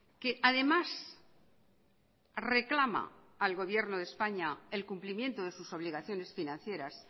que además reclama al gobierno de españa el cumplimiento de sus obligaciones financieras